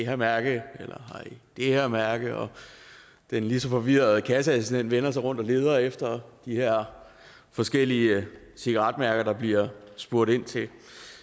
her mærke eller det her mærke og den lige så forvirrede kasseassistent vender sig rundt og leder efter de her forskellige cigaretmærker der bliver spurgt ind til